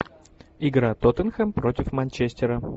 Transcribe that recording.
игра тоттенхэм против манчестера